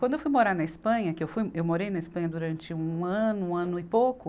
Quando eu fui morar na Espanha, que eu fui, eu morei na Espanha durante um ano, um ano e pouco,